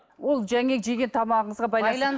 ол жаңағы жеген тамағыңызға